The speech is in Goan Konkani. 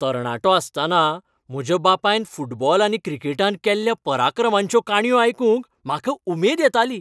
तरणाटो आसतना म्हज्या बापायन फुटबॉल आनी क्रिकेटांत केल्ल्या पराक्रमांच्यो काणयो आयकूंक म्हाका उमेद येताली.